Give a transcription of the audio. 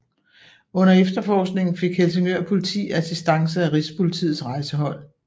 Under efterforskningen fik Helsingør Politi assistance af Rigspolitiets Rejsehold